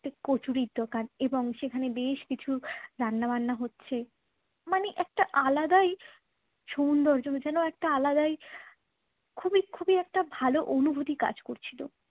একটি কচুরির দোকান এবং সেখানে বেশ কিছু রান্না বান্না হচ্ছে মানে একটা আলাদাই সৌন্দর্য যেন একটা আলাদাই খুবই খুবই একটা ভালো অনুভূতি কাজ করছিল